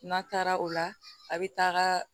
N'a taara o la a bi taga